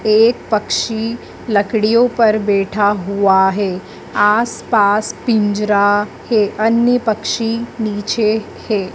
एक पक्षी लकड़ियों पर बैठा हुआ है। आसपास पिंजरा है। अन्य पक्षी नीचे हैं।